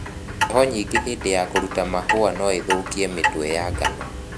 heho nyingĩ hĩndĩ ya kũruta mahũa nũĩthũkie mĩtwe ya ngano.